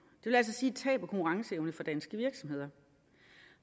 vil altså sige tab af konkurrenceevne for danske virksomheder